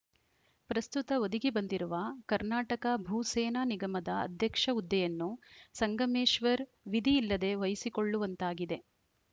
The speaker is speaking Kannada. ಪ್ರಸ್ತುತ ಒದಗಿ ಬಂದಿರುವ ಕರ್ನಾಟಕ ಭೂ ಸೇನಾ ನಿಗಮದ ಅಧ್ಯಕ್ಷ ಹುದ್ದೆಯನ್ನು ಸಂಗಮೇಶ್ವರ್‌ ವಿಧಿ ಇಲ್ಲದೆ ವಹಿಸಿ ಕೊಳ್ಳುವಂತಾಗಿದೆ